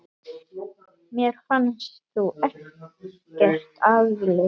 Mér fannst þú ekkert afleit!